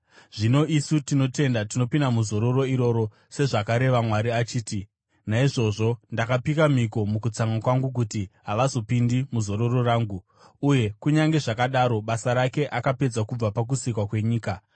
Zvino isu tinotenda tinopinda muzororo iroro, sezvakareva Mwari achiti, “Naizvozvo ndakapika mhiko mukutsamwa kwangu, kuti, ‘Havazopindi muzororo rangu.’ ” Uye kunyange zvakadaro basa rake akapedza kubva pakusikwa kwenyika.